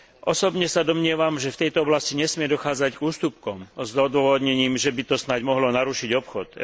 Osobne sa domnievam, že v tejto oblasti nesmie dochádzať k ústupkom s odôvodnením, že by to snáď mohlo narušiť obchod.